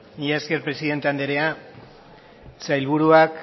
mila esker presidente andrea sailburuak